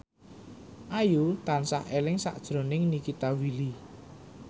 Ayu tansah eling sakjroning Nikita Willy